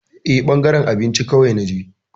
Eh, ɓangaren abinci kawai na je.